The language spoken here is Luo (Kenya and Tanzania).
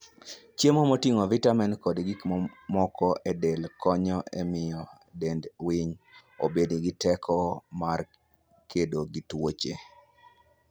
Chiemo moting'o vitamin kod gik mamoko e del konyo e miyo dend winy obed gi teko mar kedo gi tuoche.